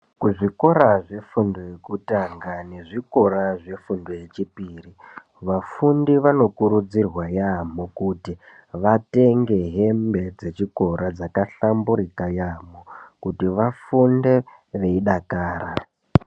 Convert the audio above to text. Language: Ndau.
Kuzvikora zvefundo yekutanga nezvikora zvefundo yechipiri. Vafundi vanokurudzirwa yaamho kuti vatenge hembe dzechikora dzakahlamburika yaamho, kuti vafunde veidakara.